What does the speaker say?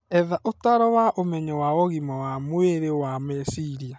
Etha ũtaaro wa ũmenyo wa ũgima wa mwĩrĩ wa meciria.